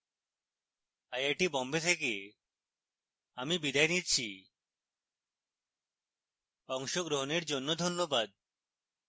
I I T Bombay থেকে আমি বিদায় নিচ্ছি অংশগ্রহনের জন্য ধন্যবাদ